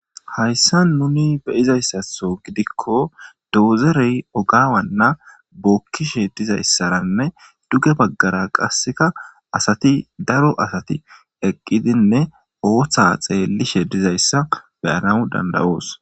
Hayssa nuni beyizayssatho gidikko doozerey ogaawanna bookkishe dizayssaranne duge baggara qasseka asati daro asati eqqidinne ooththa xeellishe dizayssa beyana danda7oos.